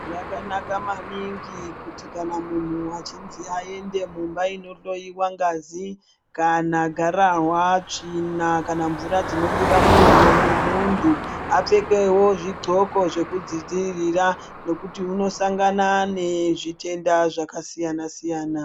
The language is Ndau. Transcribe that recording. Zvakanaka maningi kuti kana muntu achinzi aende mumba inohloiwa ngazi kana gararwa, tsvina kamvura dzinobuda mumuviri memuntu. Apfekevo zvidhloko zvekuzvidzivirira nokuti unosangana nezvitenda zvakasiyana-siyana.